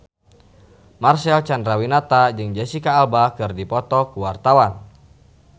Marcel Chandrawinata jeung Jesicca Alba keur dipoto ku wartawan